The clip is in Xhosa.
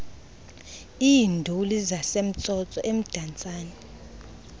iinduli zasemtsotso emdantsane